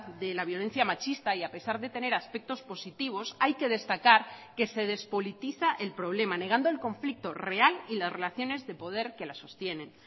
de la violencia machista y a pesar de tener aspectos positivos hay que destacar que se despolitiza el problema negando el conflicto real y las relaciones de poder que las sostienen